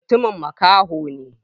Matumin makaho ne?